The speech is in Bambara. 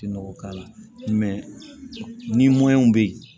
Nɔgɔ k'a la ni bɛ yen